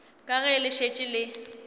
ka ge le šetše le